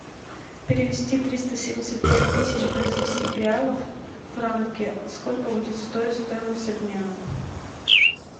перевести триста семьдесят пять тысяч бразильских реалов в франки сколько будет стоить стоимость обмена